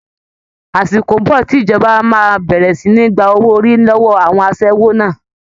Àsìkò ń bọ̀ tí ìjọba máa bẹ̀rẹ̀ sì ní gba owó orí lọ́wọ́ àwọn aṣẹ́wó náà